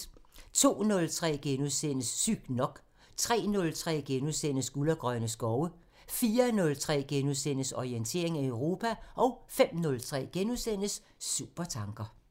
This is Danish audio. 02:03: Sygt nok * 03:03: Guld og grønne skove * 04:03: Orientering Europa * 05:03: Supertanker *